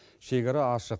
шекара ашық